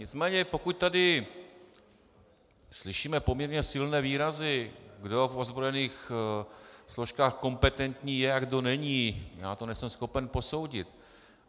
Nicméně pokud tady slyšíme poměrně silné výrazy, kdo v ozbrojených složkách kompetentní je a kdo není, já to nejsem schopen posoudit.